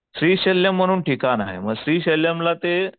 श्रीशल्य म्हणून ठिकाण आहे मग श्रीशल्यम ला ते